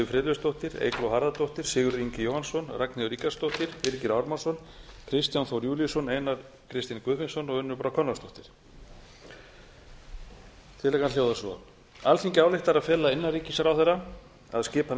friðleifsdóttir eygló harðardóttir sigurður ingi jóhannsson ragnheiður ríkharðsdóttir birgir ármannsson kristján þór júlíusson einar k guðfinnsson og unnur brá konráðsdóttir tillagan hljóðar svo alþingi ályktar að fela innanríkisráðherra að skipa